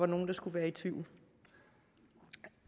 nogen der skulle være i tvivl